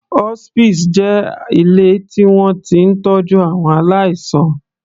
Hospices jẹ́ ilé tí wọ́n ti ń tọ́jú àwọn aláìsàn.